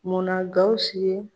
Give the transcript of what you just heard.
Munna Gawusu ye?